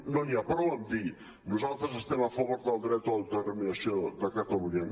no n’hi ha prou amb dir nosaltres estem a favor del dret a l’autodeterminació de catalunya